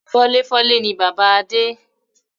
Fọ́léfọ́lé ni bàbá Adé